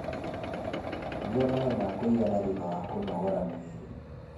Nyua maĩ ma kũigana thutha wa kũnogora mwĩrĩ